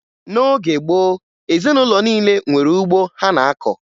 N'oge gboo, ezinụlọ niile nwere ugbo ha na-akọ